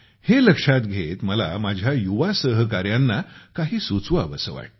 हे लक्षात घेत मला माझ्या युवा सहकाऱ्यांना काही सुचवावेसे वाटते